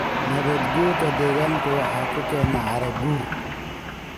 Nabaad-guurka deegaanku waxa uu keenaa carro-guur.